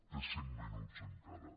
té cinc minuts encara